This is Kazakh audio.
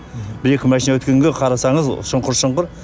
бір екі машина өткенге қарасаңыз шұңқыр шұңқыр